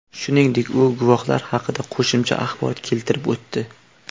Shuningdek, u guvohlar haqida qo‘shimcha axborot keltirib o‘tdi.